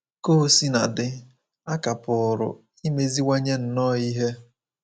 Ka o sina dị, a ka pụrụ imeziwanye nnọọ ihe